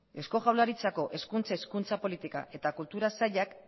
eusko jaurlaritzako hezkuntza hizkuntza politika eta kultura sailak